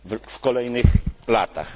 w kolejnych latach.